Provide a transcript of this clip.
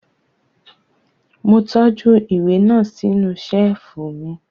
Mo tọ́jú ìwé náà sínú Ṣẹ́ẹ̀fù